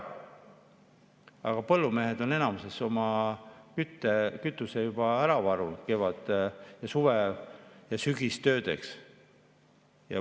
Aga põllumehed on enamuses oma kütuse juba ära varunud kevad‑, suve‑ ja sügistöödeks.